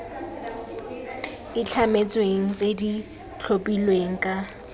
itlhametsweng tse di tlhophilweng ka